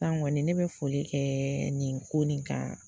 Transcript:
san kɔni ne bɛ foli kɛ nin ko nin kan